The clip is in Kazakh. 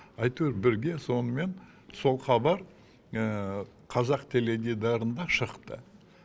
әйтеуір бірге сонымен сол хабар қазақ теледидарында шықты